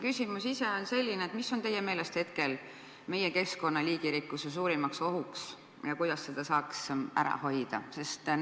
Küsimus ise on selline: mis on teie meelest hetkel meie keskkonna liigirikkusele suurimaks ohuks ja kuidas seda saaks ära hoida?